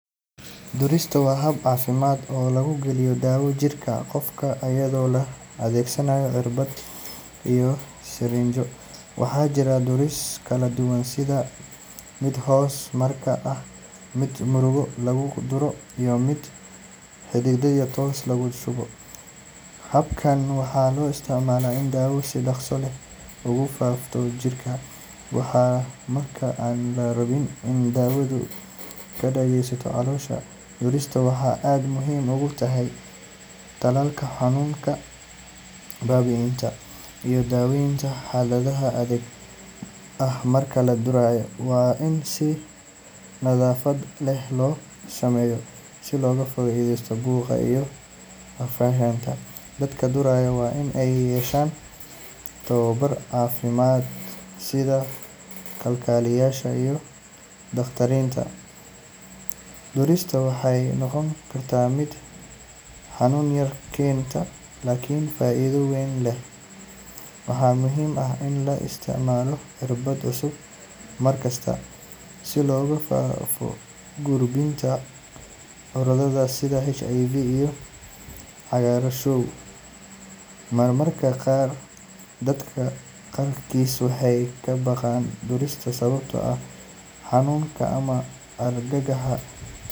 Durista waa hab caafimaad oo lagu geliyo daawo jirka qofka iyadoo la adeegsanayo irbad iyo sirinjo. Waxaa jira durisyo kala duwan sida mid hoos maqaarka ah, mid muruqa lagu duro, iyo mid xididka toos loogu shubo. Habkan waxaa loo isticmaalaa in daawo si dhaqso leh ugu faafto jirka ama marka aan la rabin in daawadu ka shaqeyso caloosha. Durista waxay aad muhiim ugu tahay tallaalka, xanuun baabi’inta, iyo daaweynta xaaladaha degdegga ah. Marka la durayo, waa in si nadaafad leh loo sameeyaa si looga fogaado caabuq iyo infekshan. Dadka duraya waa in ay yeeshaan tababar caafimaad sida kalkaaliyeyaasha iyo dhakhaatiirta. Durista waxay noqon kartaa mid xanuun yar keenta laakiin faa’iido weyn leh. Waxaa muhiim ah in la isticmaalo irbad cusub mar kasta si looga fogaado gudbinta cudurrada sida HIV iyo Cagaarshow. Mararka qaar dadka qaarkiis waxay ka baqaan durista sababtoo ah xanuunka ama argagaxa.